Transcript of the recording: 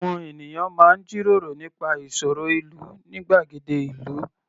Àwọn ènìyàn máa ń jíròró nípa ìṣòro ìlú ní gbàgede ìlú.